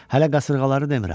Hələ qasırğaları demirəm.